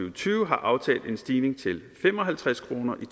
og tyve har aftalt en stigning til fem og halvtreds kroner i